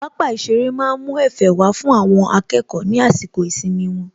Pápá ìṣeré má ń mú Ẹ̀fẹ̀ wá fún àwọn akẹ́kọ̀ọ́ ní àsìkò ìsinmi wọn